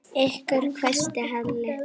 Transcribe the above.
Ykkur hvæsti Halli.